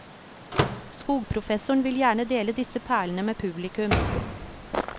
Skogprofessoren vil gjerne dele disse perlene med publikum.